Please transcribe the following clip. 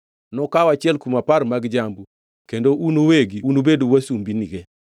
Nokaw achiel kuom apar mag jambu kendo un uwegi unubed wasumbinige.